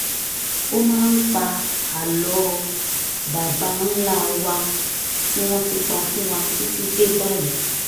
ó máa ń pa àlọ́ baba ńlá wa tí wọ́n ti pa fún wa títí dé báyìí